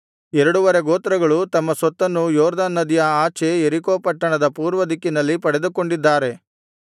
ಎರಡುವರೆ ಗೋತ್ರಗಳು ತಮ್ಮ ಸ್ವತ್ತನ್ನು ಯೊರ್ದನ್ ನದಿಯ ಆಚೆ ಯೆರಿಕೋ ಪಟ್ಟಣದ ಪೂರ್ವದಿಕ್ಕಿನಲ್ಲಿ ಪಡೆದುಕೊಂಡಿದ್ದಾರೆ